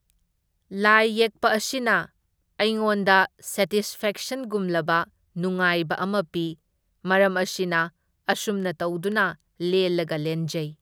ꯂꯥꯏ ꯌꯦꯛꯄ ꯑꯁꯤꯅ ꯑꯩꯉꯣꯟꯗ ꯁꯦꯇꯤꯁꯐꯦꯛꯁꯟꯒꯨꯝꯂꯕ ꯅꯨꯉꯥꯏꯕ ꯑꯃ ꯄꯤ, ꯃꯔꯝ ꯑꯁꯤꯅ ꯑꯁꯨꯝꯅ ꯇꯧꯗꯨꯅ ꯂꯦꯜꯂꯒ ꯂꯦꯟꯖꯩ꯫